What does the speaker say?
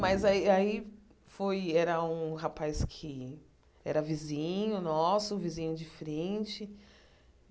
Mas aí aí foi... Era um rapaz que era vizinho nosso, vizinho de frente.